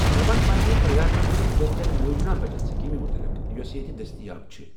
مےٚ وَن پننہِ پرٛدھان منترٛی جن دھن یوجنا بَچت سٕکیٖم مُتلِق یۄس ییٚتہِ دٔستیاب چھِ۔